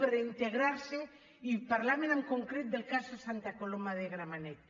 per integrar·s’hi i parlaven en concret del cas de santa coloma de gramenet